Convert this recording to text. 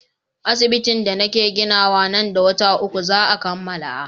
Asibitin da nake ginawa nan da wata uku za a kammala.